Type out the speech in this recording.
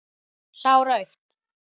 Sá rautt.